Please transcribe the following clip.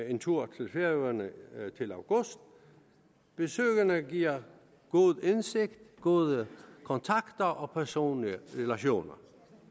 en tur til færøerne til august besøgene giver god indsigt gode kontakter og personlige relationer